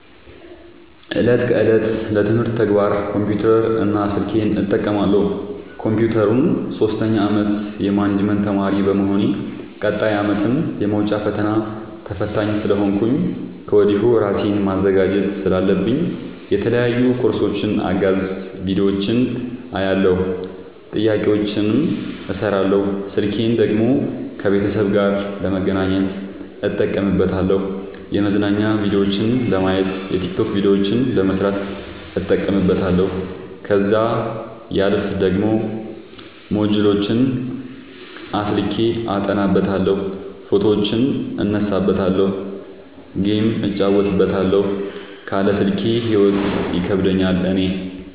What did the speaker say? እለት ከእለት ለትምህርት ተግባር ኮምፒውተር እና ስልኬን እጠቀማለሁ። ኮንፒውተሩን ሶስተኛ አመት የማኔጅመት ተማሪ በመሆኔ ቀጣይ አመትም የመውጫ ፈተና ተፈታኝ ስለሆንኩኝ ከወዲሁ እራሴን ማዘጋጀት ስላለብኝ የተለያዩ ኮርሶችን አጋዝ ቢዲዮዎችን አያለሁ። ጥያቄዎችን እሰራለሁ። ስልኬን ደግሞ ከቤተሰብ ጋር ለመገናኘት እጠቀምበታለሁ የመዝናኛ ቭዲዮዎችን ለማየት። የቲክቶክ ቪዲዮዎችን ለመስራት እጠቀምበታለሁ። ከዛሲያልፍ ደግሞ ሞጅልዎችን አስልኬ አጠናበታለሁ። ፎቶዎችን እነሳበታለሀለ። ጌም እጫወትበታለሁ ካለ ስልኬ ሂይወት ይከብደኛል እኔ።